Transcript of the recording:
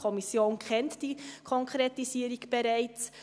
Die Kommission kennt diese Konkretisierung bereits.